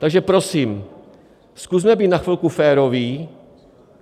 Takže prosím, zkusme být na chvilku féroví.